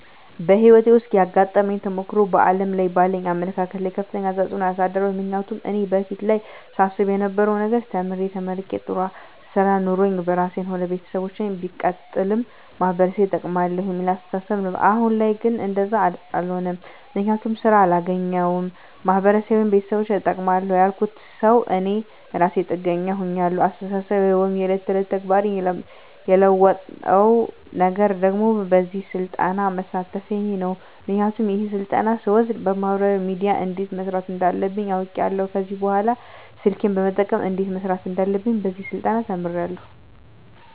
በህይወቴ ዉስጥ ያጋጠመኝ ተሞክሮ በዓለም ላይ ባለኝ አመለካከት ላይ ከፍተኛ ተጽዕኖ አሳድሯል ምክንያቱም እኔ በፊት ላይ ሳስብ የነበረዉ ነገር ተምሬ ተመርቄ ጥሩ ስራ ኖሮኝ ራሴንም ሆነ ቤተሰቦቸን ሲቀጥልም ማህበረሰቤን እጠቅማለዉ የሚል አስተሳሰብ ነበረኝ አሁን ላይ ግን እንደዛ አሎነም ምክንያቱም ስራ አላገኘዉም ማህበረሰቤንም ቤተሰቦቸንም እጠቅማለዉ ያልኩት ሰዉ እኔ እራሴ ጥገኛ ሁኛለዉ አስተሳሰቤን ወይም የዕለት ተዕለት ተግባሬን የለወጠዉ ነገር ደግሞ በዚህ ስልጠና መሳተፌ ነዉ ምክንያቱም ይሄን ስልጠና ስወስድ በማህበራዊ ሚድያ እንዴት መስራት እንዳለብኝ አዉቄያለዉ ከዚህ በኅላ ስልኬን በመጠቀም እንዴት መስራት እንዳለብኝ በዚህ ስልጠና ተምሬያለዉ